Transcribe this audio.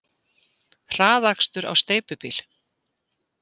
Hraðakstur á steypubíl